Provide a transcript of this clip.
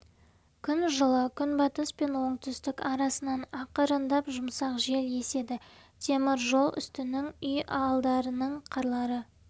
күн жылы күнбатыс пен оңтүстік арасынан ақырындап жұмсақ жел еседі темір жол үстінің үй алдарының қарлары